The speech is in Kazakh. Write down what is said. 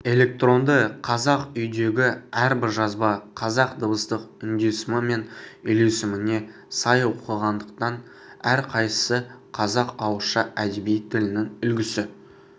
электронды қазақ үйдегі әрбір жазба қазақ дыбыстық үндесімі мен үйлесіміне сай оқылғандықтан әрқайсысы қазақ ауызша әдеби тілінің үлгісі